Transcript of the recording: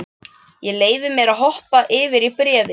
Ég leyfi mér að hoppa yfir í bréfið.